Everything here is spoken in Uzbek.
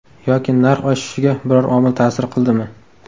Yoki narx oshishiga biror omil ta’sir qildimi?